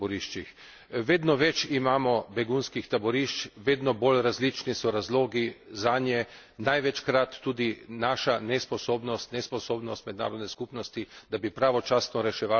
Vedno več imamo begunskih taborišč, vedno bolj različni so razlogi zanje, največkrat tudi naša nesposobnost, nesposobnost mednarodne skupnosti, da bi pravočasno reševala probleme.